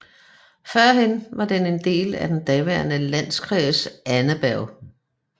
Førhen var den en del af den daværende Landkreis Annaberg